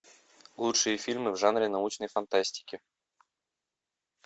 лучшие фильмы в жанре научной фантастики